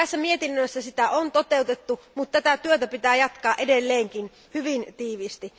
Tässä mietinnössä sitä on toteutettu, mutta tätä työtä pitää jatkaa edelleenkin hyvin tiiviisti.